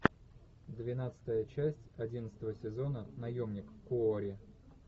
двенадцатая часть одиннадцатого сезона наемник куорри